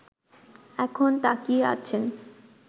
এখন তাকিয়ে আছেন